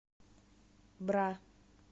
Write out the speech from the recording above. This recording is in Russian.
бра